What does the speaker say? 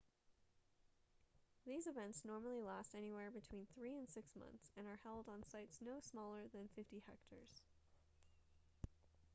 these events normally last anywhere between three and six months and are held on sites no smaller than 50 hectares